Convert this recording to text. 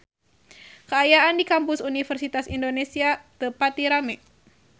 Kaayaan di Kampus Universitas Indonesia teu pati rame